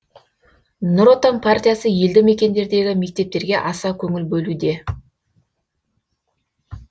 нұр отан партиясы елді мекендердегі мектептерге аса көңіл бөлуде